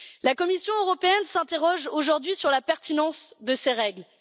La Commission européenne s'interroge aujourd'hui sur la pertinence de ces règles.